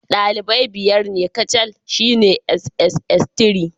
Dalibai biyar ne kacal shine sss3.